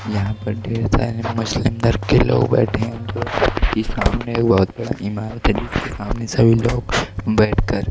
यहां पर ढेर सारी के लोग बैठे हैं सामने बहोत बड़ा इमारत सामने सभी लोग बैठकर--